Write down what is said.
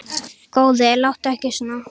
Góði, láttu ekki svona.